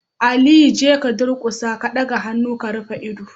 Aliyu jeka ka durkusa, ya daga hannu ya rufe ido